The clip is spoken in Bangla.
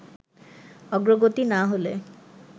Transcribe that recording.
অগ্রগতি না হলে